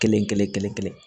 Kelen kelen kelen kelen